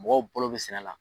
Mɔgɔw balo bɛ siɛnɛ la.